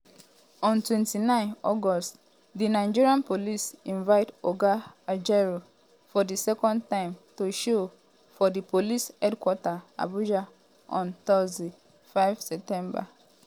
on 29 august di nigeria police invite oga ajaero for di second time to show for di police headquarter abuja on thursday 5 september.